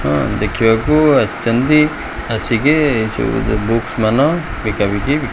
ହଁ ଦେଖିବାକୁ ଆସିଚନ୍ତି ଆସିକି ଏ ସବୁ ଯୋ ବୁକ୍ସ ମାନ ବିକା ବିକି।